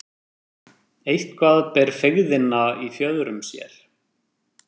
Eitthvað ber feigðina í fjöðrum sér